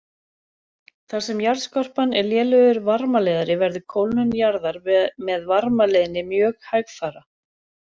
Þar sem jarðskorpan er lélegur varmaleiðari verður kólnun jarðar með varmaleiðni mjög hægfara.